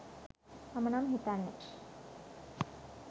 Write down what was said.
මම නම් හිතන්නේ